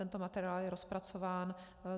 Tento materiál je rozpracován.